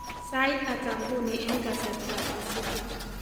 Sait ata nguni eng kasarta ab Pasifik